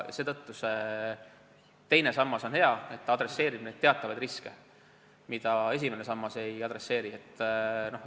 Seetõttu on teine sammas hea, et ta leevendab teatavaid riske, mida esimene sammas ei leevenda.